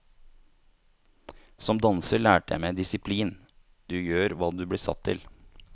Som danser lærte jeg meg disiplin, du gjør hva du blir satt til.